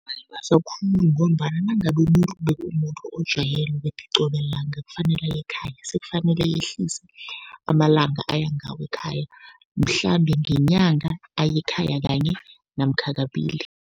Khulu ngombana nangabe umuntu bekumuntu ojwayele ukuthi qobe langa kufanele aye ekhaya, sekufanele ayehlise amalanga aya ngawo ekhaya, mhlambe ngenyanga aye ekhaya kanye namkha kabili.